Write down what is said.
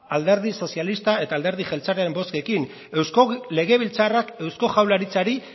alderdi sozialista eta alderdi jeltzalearen bozkekin eusko legebiltzarrak eusko jaurlaritzari